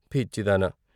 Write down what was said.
" పిచ్చిదానా!